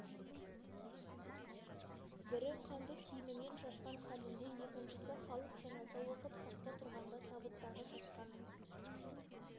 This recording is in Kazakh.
бірі қанды киімімен жатқан хәлінде екіншісі халық жаназа оқып сапта тұрғанда табыттағы жатқаны